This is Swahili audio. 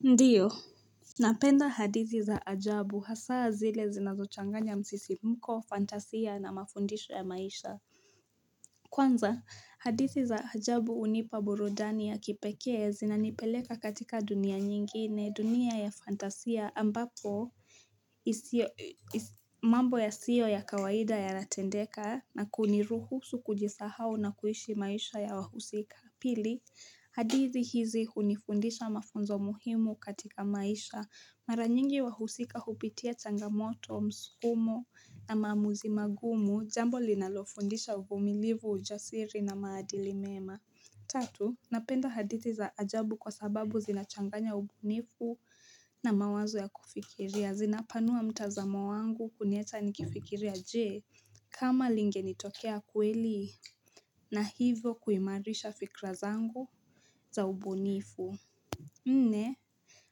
Ndio, napenda hadithi za ajabu hasaa zile zinazochanganya msisimko, fantasia na mafundisho ya maisha Kwanza hadithi za ajabu hunipa burudani ya kipekee zinanipeleka katika dunia nyingine, dunia ya fantasia ambapo isiyo mambo yasiyo ya kawaida yanatendeka na kuniruhusu kujisahao na kuishi maisha ya wahusika. Pili, hadithi hizi hunifundisha mafunzo muhimu katika maisha Mara nyingi wahusika hupitia changamoto, msukumo na maamuzi magumu, jambo linalofundisha uvumilivu, ujasiri na maadili mema. Tatu, napenda hadithi za ajabu kwa sababu zinachanganya ubunifu na mawazo ya kufikiria. Zinapanua mtazamo wangu kuniacha nikifikiria jee, kama lingenitokea kweli. Na hivyo kuimarisha fikra zangu za ubunifu. Nne,